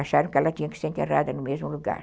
Acharam que ela tinha que ser enterrada no mesmo lugar.